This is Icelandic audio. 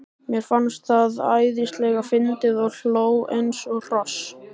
Mér fannst það æðislega fyndið og hló eins og hross.